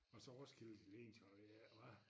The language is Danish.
Og så Roskilde det lignede jo jeg ved ikke hvad